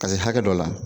Ka se hakɛ dɔ la